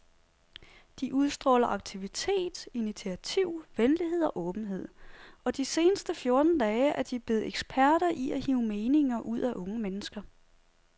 De udstråler aktivitet, initiativ, venlighed og åbenhed, og de seneste fjorten dage er de blevet eksperter i at hive meninger ud af unge mennesker.